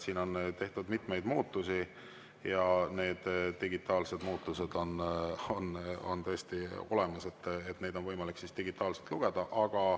Seal on tehtud mitmeid muudatusi ja need muudatused on digitaalses olemas, neid on võimalik digitaalselt lugeda.